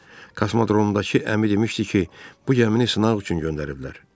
Axı kosmodromdakı əmi demişdi ki, bu gəmini sınaq üçün göndəriblər.